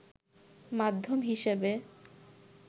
মাধ্যম হিসেবে